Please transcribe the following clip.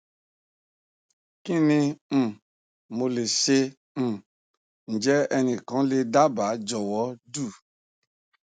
kini mo le se um njẹ ẹnikan le le daba jọwọ do